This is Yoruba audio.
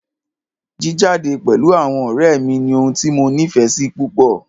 Jíjade pẹ̀lú àwọn ọ̀rẹ́ mí ní ohun tí mo nífẹsí púpọ.